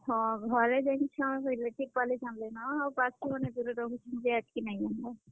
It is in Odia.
ହଁ ହଁ, ଘରେ ଜାନିଛନ୍ relative ବାଲେ ଜାନ୍ ଲେ ନ। ଆଉ ବାକି ମାନେ ଦୁରେ ରହୁଛନ୍ ଯେ ହେତ୍ କି ନାଇ ଯାନବାର୍।